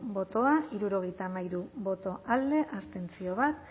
bozka hirurogeita hamairu boto alde bat abstentzio